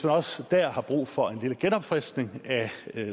også der har brug for lidt genopfriskning af